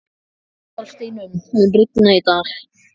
Aðalsteinunn, mun rigna í dag?